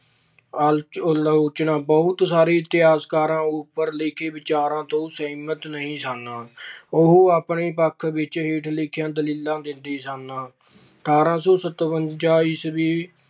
ਆਲੋਚ ਅਹ ਆਲੋਚਨਾ ਬਹੁਤ ਸਾਰੇ ਇਤਿਹਾਸਕਾਰ ਉੱਪਰ ਲਿਖੇ ਵਿਚਾਰਾਂ ਤੋਂ ਸਹਿਮਤ ਨਹੀਂ ਸਨ। ਉਹ ਆਪਣੇ ਪੱਖ ਵਿੱਚ ਹੇਠ ਲਿਖੀਆਂ ਦਲੀਲਾਂ ਦਿੰਦੇ ਸਨ। ਅਠਾਰਾਂ ਸੌ ਸਤਵੰਜਾ ਈਸਵੀ